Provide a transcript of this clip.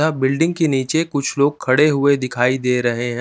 या बिल्डिंग के नीचे कुछ लोग खड़े हुए दिखाई दे रहे हैं।